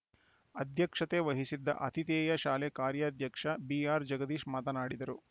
ಅಧ್ಯಕ್ಷತೆ ವಹಿಸಿದ್ದ ಅತಿಥೇಯ ಶಾಲೆ ಕಾರ್ಯಾಧ್ಯಕ್ಷ ಬಿಆರ್‌ಜಗದೀಶ್‌ ಮಾತನಾಡಿದರು